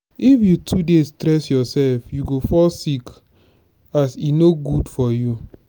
if you too dey stress yourself you go fall sick as e no good for you.